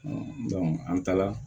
an taala